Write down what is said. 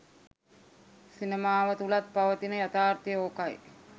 සිනමාව තුළත් පවතින යථාර්තය ඕකයි